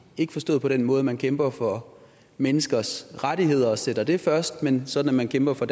ikke forstået på den måde at man kæmper for menneskers rettigheder og sætter dem først men sådan at man kæmper for